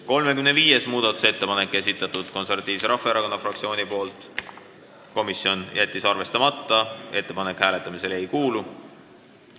35. muudatusettepaneku on esitanud Eesti Konservatiivse Rahvaerakonna fraktsioon, komisjon jättis arvestamata, ettepanek hääletamisele ei kuulu.